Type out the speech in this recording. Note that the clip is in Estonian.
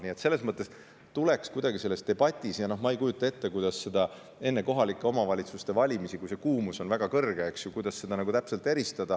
Nii et selles mõttes tuleks kuidagi selles debatis eristada, ehkki ma ei kujuta ette, kuidas enne kohalike omavalitsuste valimisi, kui kuumus on väga suur, seda täpselt teha.